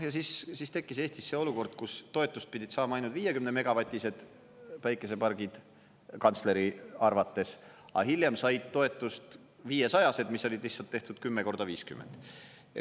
Ja siis tekkis Eestis see olukord, kus toetust pidid saama ainult 50-megavatised päikesepargid kantsleri arvates, aga hiljem said toetust 500-sed, mis olid lihtsalt tehtud 10 × 50.